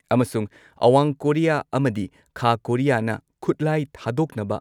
ꯑꯃꯁꯨꯡ ꯑꯋꯥꯡ ꯀꯣꯔꯤꯌꯥ ꯑꯃꯗꯤ ꯈꯥ ꯀꯣꯔꯤꯌꯥꯅ ꯈꯨꯠꯂꯥꯏ ꯊꯥꯗꯣꯛꯅꯕ